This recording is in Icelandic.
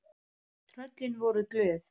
Tröllin voru glöð.